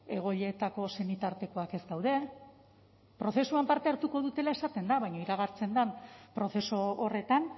egoiletako senitartekoak ez daude prozesuan parte hartuko dutela esaten da baina iragartzen den prozesu horretan